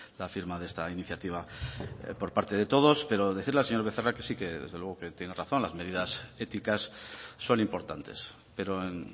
la firma de esta iniciativa por parte de todos pero decirle al señor becerra que sí que desde luego tiene razón las medidas éticas son importantes pero en